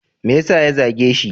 Me yasa ya zage shi?